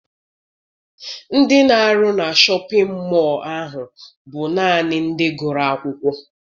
Ndị na-arụ na Shọpịn mọọ ahụ bụ naanị ndị gụrụ akwụkwọ.